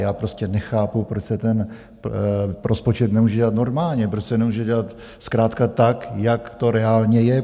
Já prostě nechápu, proč se ten rozpočet nemůže dělat normálně, proč se nemůže dělat zkrátka, tak jak to reálně je.